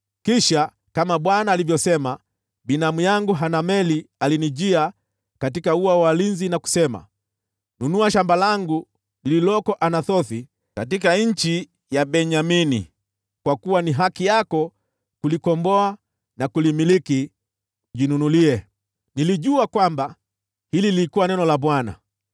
“Kisha, kama Bwana alivyosema, binamu yangu Hanameli alinijia katika ua wa walinzi na kusema: ‘Nunua shamba langu lililoko Anathothi katika nchi ya Benyamini. Kwa kuwa ni haki yako kulikomboa na kulimiliki, jinunulie.’ “Nilijua kwamba hili lilikuwa neno la Bwana .